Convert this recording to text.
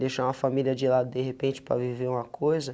Deixar uma família de lado de repente para viver uma coisa.